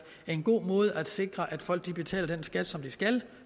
en god måde at sikre at folk betaler den skat som de skal